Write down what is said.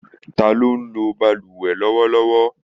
Ta ló ń lo bálùwẹ̀ lọ́wọ́lọ́wọ́?